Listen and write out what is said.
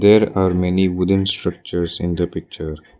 there are many wooden structures in the picture.